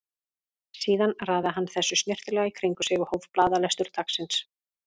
Síðan raðaði hann þessu snyrtilega í kring um sig og hóf blaðalestur dagsins.